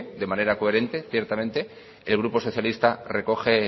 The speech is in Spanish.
de manera coherente ciertamente el grupo socialista recoge